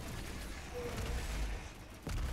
долинску